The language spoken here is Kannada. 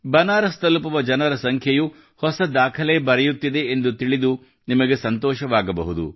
ಬನಾರಸ್ ತಲುಪುವ ಜನರ ಸಂಖ್ಯೆಯೂ ಹೊಸ ದಾಖಲೆ ಬರೆಯುತ್ತಿದೆ ಎಂದು ತಿಳಿದು ನಿಮಗೆ ಸಂತೋಷವಾಗಬಹುದು